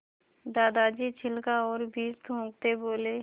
दादाजी छिलका और बीज थूकते बोले